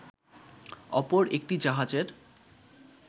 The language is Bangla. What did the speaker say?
অপর একটি জাহাজের